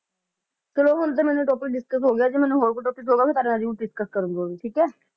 ਚਲੋ ਹੁਣ ਤੇ ਮੈਨੂੰ topic discuss ਹੋ ਗਿਆ ਜੇ ਮੈਨੂੰ ਹੋਰ ਕੋਈ topic ਹੋਊਗਾ ਮਈ ਤੁਹਾਡੇ ਨਾਲ ਜਰੂਰ discuss ਕਰੂਗੀ ਠੀਕ ਹੈ